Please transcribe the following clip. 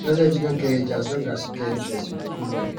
knowledge no get age as long as you get interest you go fit learn